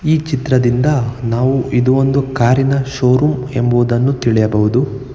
ಈ ಚಿತ್ರದಿಂದ ನಾವು ಇದು ಒಂದು ಕಾರಿನ ಷೋರೂಮ್ ಎಂಬುವುದನ್ನು ತಿಳಿಯಬಹುದು.